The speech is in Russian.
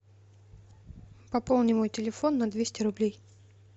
пополни мой телефон на двести рублей